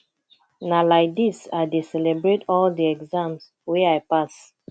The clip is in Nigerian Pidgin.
na lai dis i dey celebrate all di exam wey i pass